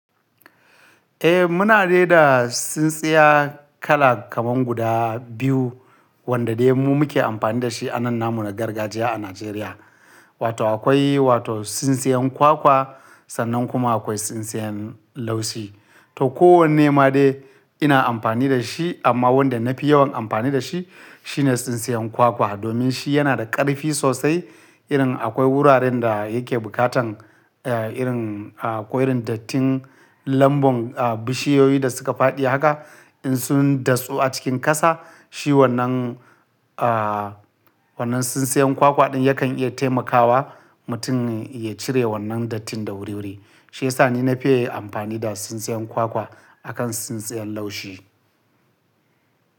Eh muna da tsintsiyar kala kaman guda biyu wanda dai mu muke amfani da shi a nan namu na gargajiya a Najeriya. Wato akwai wato tsintsiyan kwakwa sannan kuma akwai tsintsiyan laushi. To kowanne ma dai ina amfani da shi amma wanda na fi yawan amfani da shi shine tsintsiyan kwakwa domin shi yana da karfi sosai irin akwai wuraren da yake bukatan eh irin ah akwai irin dattin lambun ah bishiyoyi da suka faɗi haka in sun dasu a cikin ƙasa shi wannan ah wannan tsintsiyan kwakwa ɗin yakan iya taimakawa mutum ya cire wannan dattin da wuriwuri. Shiyasa ni na fiye amfani da tsintsiyan kwakwa a kan tsintsiyan laushi.